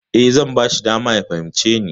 E, zan bashi dama ya fahimce ni.